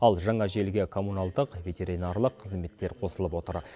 ал жаңа желіге коммуналдық ветеринарлық қызметтер қосылып отыр